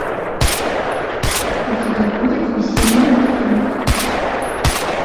у тебя будет весенний отрыв